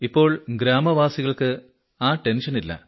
ഇപ്പോൾ ഗ്രാമവാസികൾക്ക് ആ ടെൻഷനില്ല